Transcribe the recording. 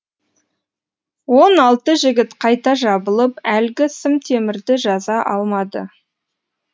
он алты жігіт қайта жабылып әлгі сым темірді жаза алмады